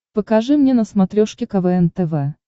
покажи мне на смотрешке квн тв